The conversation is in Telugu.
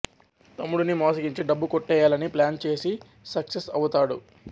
తమ్ముడిని మోసగించి డబ్బు కొట్టేయాలని ప్లాన్ చేసి సక్సెస్ అవుతాడు